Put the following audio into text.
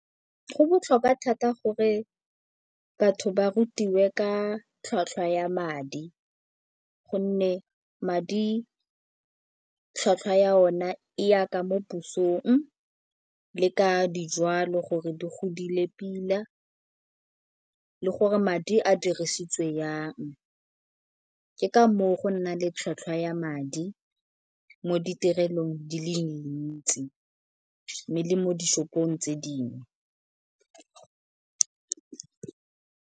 Go botlhokwa thata gore batho ba rutiwe ka tlhwatlhwa ya madi gonne madi tlhwatlhwa ya o na e yaka mo pusong le ka dijwalo gore di godile pila le gore madi a dirisitswe yang. Ke ka moo go nna le tlhwatlhwa ya madi mo ditirelong di le dintsi mme le mo di-shop-ong tse dingwe.